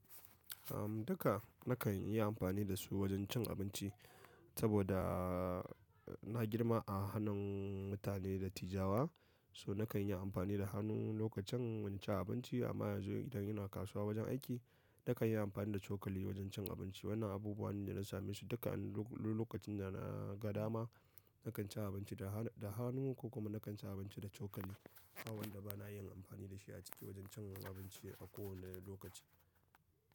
Uhm, duka nakan yi amfani da su wajen cin abinci saboda na girma a hannun mutane dattijawa. So nakan yi amfani da hannu lokacin cin abinci amma yanzu idan ina kasuwa wajen aiki, nakan yi amfani da cokali wajen cin abinci. Wannan abubuwa ne da na same su duka. Lokacin da na gada ma, nakan ci abinci da hannu ko kuma nakan ci abinci da cokali. Ba wanda bana yin amfani da shi a cikin wajen cin abinci a kowane lokaci.